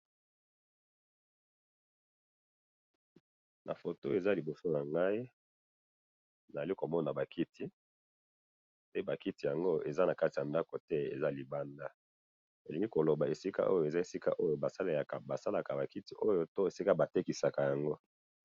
Na foto oyo eza liboso nangayi, nazali komona bakiti, pe bakiti yango eza nakati yandako te, eza libanda, elingi koloba esika oyo ezali esika oyo basalaka bakiti oyo, to esika batekisaka yango.